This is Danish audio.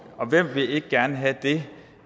og hvem vil ikke gerne have det